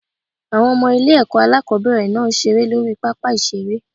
Àwọn Ọmọ ilé èkó alákòóbèrè náà n seré lórí I pápá ìseré